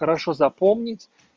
хорошо запомнить